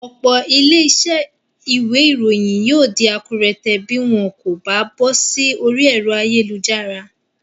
Òpò ilé isé ìwé ìròyìn yio dí akúrẹtẹ̀ bi wón kò ba bósí orí èro ayélujára